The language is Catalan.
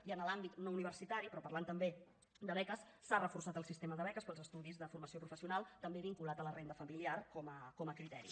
i en l’àmbit no universitari però parlant també de beques s’ha reforçat el sistema de beques per als estudis de formació professional també vinculat a la renda familiar com a criteri